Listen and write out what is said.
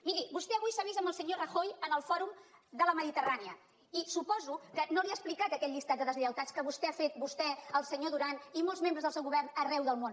miri vostè avui s’ha vist amb el senyor rajoy en el fòrum de la mediterrània i suposo que no li ha explicat aquell llistat de deslleialtats que vostè ha fet vostè el senyor duran i molts membres del seu govern arreu del món